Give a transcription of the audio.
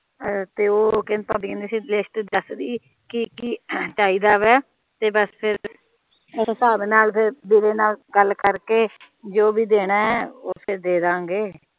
ਤੇ ਉਹ ਭਾਬੀ ਕਹਿੰਦੀ ਸੀਗੀ ਲਿਸਟ ਦਸਦੀ ਕਿ ਕਿ ਚਾਹੀਦਾ ਵਾ ਤੇ ਬਸ ਫੇਰ ਉਸ ਹਸਾਬ ਦੇ ਨਾਲ ਫੇਰ ਵੀਰੇ ਨਾਲ ਗੱਲ ਕਰ ਕੇ ਜੋ ਵੀ ਦੇਣਾ ਉਹ ਫੇਰ ਦੇ ਦਾ ਗੇ